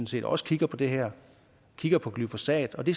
set også kigger på det her kigger på glyfosat og det